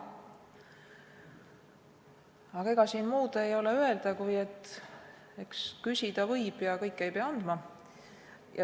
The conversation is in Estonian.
Aga ega siin muud ei ole öelda, kui et eks küsida võib ja kõike ei pea andma.